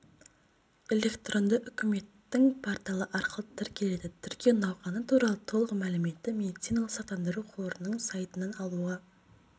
электронды үкіметтің порталы арқылы тіркеледі тіркеу науқаны туралы толық мәліметті медициналық сақтандыру қорының сайтынан алуға